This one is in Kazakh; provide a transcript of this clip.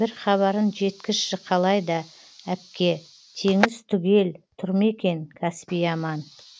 бір хабарын жеткізші қалай да әпке теңіз түгел тұр ма екен каспий аман